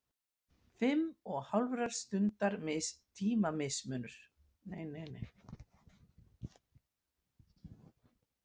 Fimm og hálfrar stundar tímamunur.